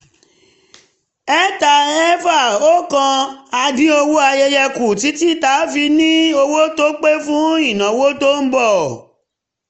361 a dín owó ayẹyẹ kù títí tá a fi ní owó tó pé fún ìnáwó tó ń bọ̀